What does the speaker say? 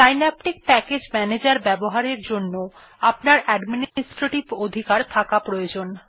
Synaptic package manager ব্যবহারের জন্য আপনার অ্যাডমিনিস্ট্রেটিভ অধিকার থাকা আবশ্যক